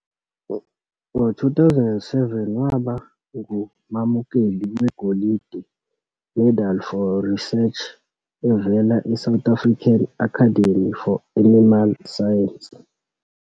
Ngo-2007, waba ngumamukeli weGolide Medal for Research evela eSouth African Academy for Animal Science.